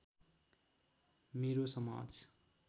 मेरो समाज